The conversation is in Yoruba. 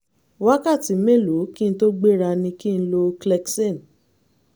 wákàtí mélòó kí n tó gbéra ni kí n lo clexane?